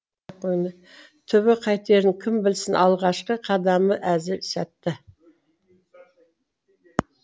түбі қайтерін кім білсін алғашқы қадамы әзір сәтті